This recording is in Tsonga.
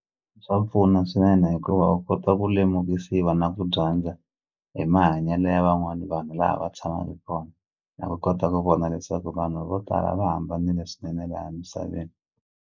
Swa pfuna swinene hikuva u kota ku lemukisiwa na ku dyandza hi mahanyelo ya van'wani vanhu laha va tshamaku kona na ku kota ku vona leswaku vanhu vo tala va hambanile swinene laha emisaveni.